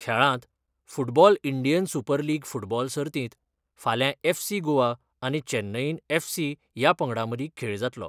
खेळांत football Indian Super League football सर्तीत फाल्यां एफसी गोवा आनी चेन्नईन एफसी या पंगडामदी खेळ जातलो.